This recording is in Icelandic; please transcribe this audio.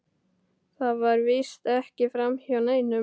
Það fer víst ekki framhjá neinum.